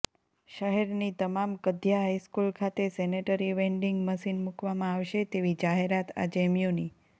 શહેરની તમામ ક્ધયા હાઈસ્કૂલ ખાતે સેનેટરી વેન્ડીંગ મશીન મુકવામાં આવશે તેવી જાહેરાત આજે મ્યુનિ